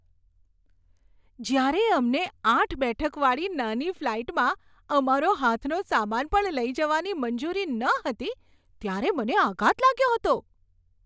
જ્યારે અમને આઠ બેઠક વાળી નાની ફ્લાઈટમાં અમારો હાથનો સામાન પણ લઈ જવાની મંજૂરી ન હતી ત્યારે મને આઘાત લાગ્યો હતો.